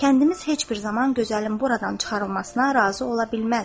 Kəndimiz heç bir zaman gözəlim buradan çıxarılmasına razı ola bilməz.